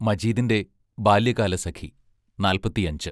മജീദിന്റെ ബാല്യകാലസഖി നാൽപ്പത്തിയഞ്ച്